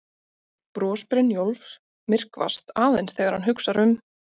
Bros Brynjólfs myrkvast aðeins þegar hann hugsar um